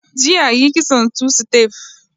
Jiya yi kitson tu-sitef